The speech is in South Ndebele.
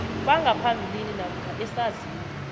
bangaphambilini namkha esazini